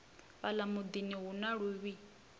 fhala mudini hu na luvhi